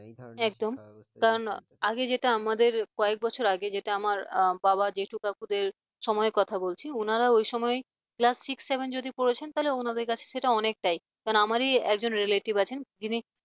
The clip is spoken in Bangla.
একদম কারণ আগে যেটা আমাদের কয়েক বছর আগে যেটা আমার বাবা জেঠু কাকুদের সময়ের কথা বলছি ওনারা ওই সময়ে class six seven যদি পড়েছেন তাহলে ওনাদের কাছে সেটা অনেকটাই কারণ আমারই একজন relative আছেন যিনি